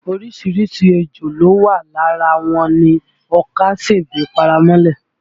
Orísìírísìí ejò ló wà, lára wọn ni ọkà, sèbé, paramọ́lẹ̀